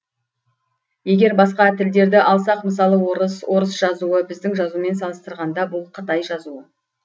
егер басқа тілдерді алсақ мысалы орыс орыс жазуы біздің жазумен салыстырғанда бұл қытай жазуы